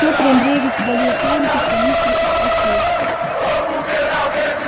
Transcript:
петр андреевич долил чайник из канистры и спросил